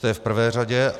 To je v prvé řadě.